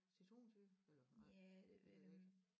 Citronsyre eller nej det ved jeg ikke